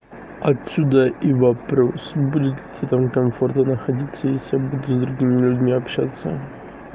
отсюда и вопрос будет тебе там комфортно находиться если я буду с другими людьми общаться